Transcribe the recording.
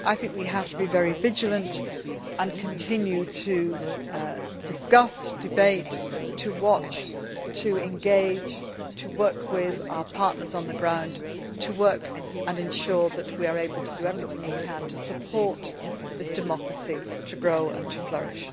We have to be very vigilant and continue to discuss, debate, watch, engage and work with our partners on the ground to ensure that we are able to do everything we can to help this democracy grow and flourish.